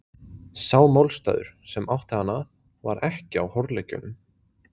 Sá málstaður, sem átti hann að, var ekki á horleggjunum.